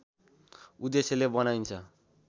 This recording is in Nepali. उद्देश्यले बनाइन्छ